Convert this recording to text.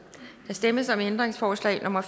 der stemmes om ændringsforslag nummer